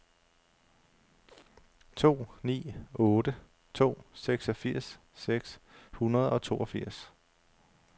to ni otte to seksogfirs seks hundrede og toogfirs